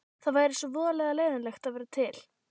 Það væri svo voðalega leiðinlegt að vera til.